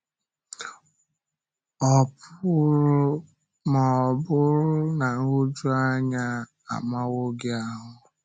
Ọ̀ pụrụ ma ọ bụrụ na nhụjuanya amàwo gị ahụ.